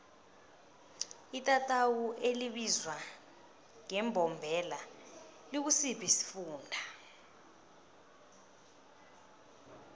itatawu elibizwa ngembombela likusiphi isifunda